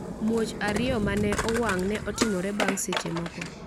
Muoch ariyo ma ne owang’ ne otimore bang’ seche moko.